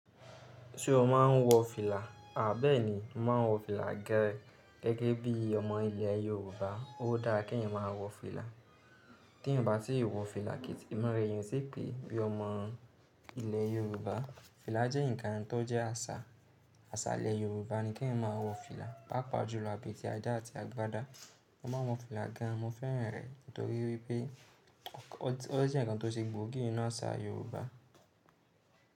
Ṣé o máa ń wọ fìlà? Àbẹ́ẹ̀ni, mo máa ń wọ fìlà gan gẹ́gẹ́ bí ọmọ ilẹ̀ Yorùbá. Ó dára kí ẹ̀yin máa wọ fìlà. T'eeyan o bá tí ì wọ fìlà, ìmura eeyan o ti pe bí ọmọ ilẹ̀ Yorùbá. Fìlà jẹ́ ǹkan tó jẹ́ àṣà. Àṣà ilẹ̀ Yorùbá ni kí ẹ̀yin máa wọ fìlà. Pápa jùlọ abetiajá àti agbádá. Mo máa ń wọ fìlà gan an. Mo fẹ́ràn rẹ̀ nítorí pé ó jẹ́ ǹkan tó ṣe gbòógì ninú àṣà Yorùbá.